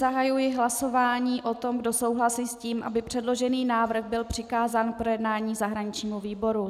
Zahajuji hlasování o tom, kdo souhlasí s tím, aby předložený návrh byl přikázán k projednání zahraničnímu výboru.